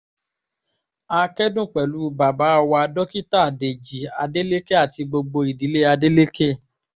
a kẹ́dùn pẹ̀lú bàbá wa dókítà dèjì adeleke àti gbogbo ìdílé adeleke